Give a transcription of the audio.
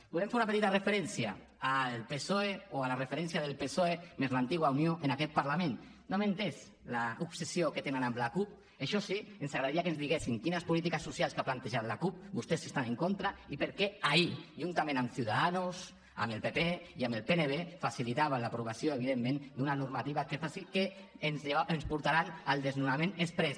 volem fer una petita referència al psoe o a la referència del psoe més l’antiga unió en aquest parlament no hem entès l’obsessió que tenen amb la cup això sí ens agradaria que ens diguessin de quines polítiques socials que ha plantejat la cup vostès estan en contra i per què ahir juntament amb ciudadanos amb el pp i amb el pnb facilitaven l’aprovació evidentment d’una normativa que ens portarà al desnonament exprés